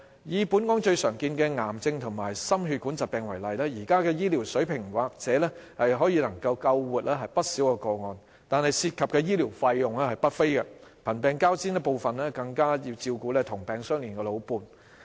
以本港最常見的癌症及心血管疾病為例，現時的醫療水平或許能救活不少個案，但涉及的醫療費用不菲，貧病交煎，部分更要照顧"同病相憐"的老伴。